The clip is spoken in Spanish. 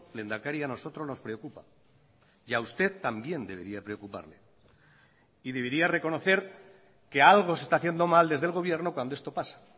lehendakari a nosotros nos preocupa y a usted también debería preocuparle y debería reconocer que algo se está haciendo mal desde el gobierno cuando esto pasa